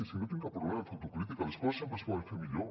si no tinc cap problema en fer autocrítica les coses sempre es poden fer millor